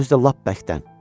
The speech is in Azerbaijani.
Özü də lap bərkdən.